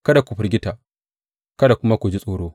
Kada ku firgita kada kuma ku ji tsoro.